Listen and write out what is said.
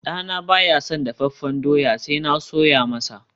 dana baya son dafaffen dawa sai na soya masa